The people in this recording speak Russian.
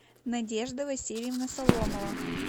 надежда васильевна соломова